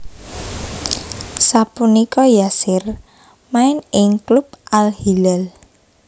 Sapunika Yasser main ing klub Al Hilal